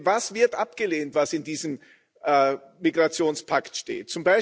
Denn was wird abgelehnt, was in diesem Migrationspakt steht?